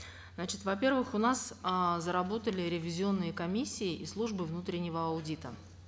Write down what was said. значит во первых у нас э заработали ревизионные комиссии и службы внутреннего аудита